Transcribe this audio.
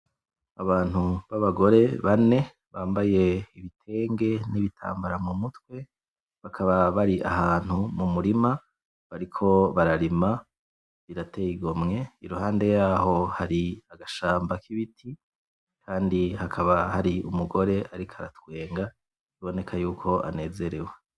Abantu babagore bane bambaye ibitenge n'ibitambara mu mutwe bakaba bari ahantu mu murima bariko bararima birateye igomwe, iruhande yaho hari agashamba k'ibiti kandi hakaba hari umugore ariko aratwenga biboneka yuko anezerewe.